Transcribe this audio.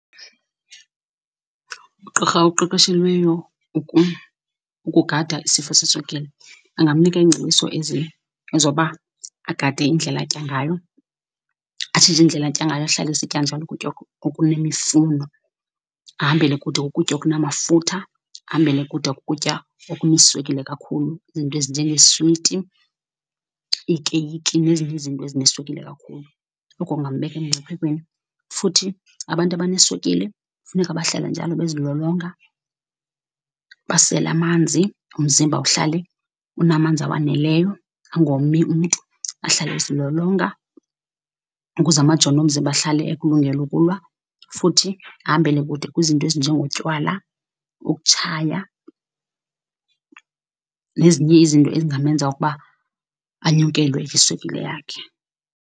Ugqirha oqeqeshelweyo ukugada isifo seswekile angamnika iingcebiso ezi, ezoba agade indlela atya ngayo, atshintshe indlela atya ngayo, ahlale esitya njalo ukutya okunemifuno. Ahambele kude kukutya okunamafutha, ahambele kude kukutya okuneswekile kakhulu, iinto ezinjengeeswiti, iikeyiki nezinye izinto ezineswekile kakhulu, oko kungambeka emngciphekweni. Futhi abantu abaneswekile funeka bahlale njalo bezilolonga, basele amanzi umzimba uhlale unamanzi awaneleyo, angomi umntu, ahlale ezilolonga ukuze amajoni omzimba ahlale ekulungele ukulwa. Futhi ahambele kude kwizinto ezinjengotywala, ukutshaya nezinye izinto ezingamenza ukuba anyukelwe yiswekile yakhe.